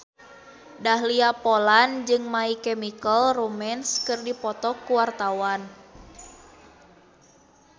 Dahlia Poland jeung My Chemical Romance keur dipoto ku wartawan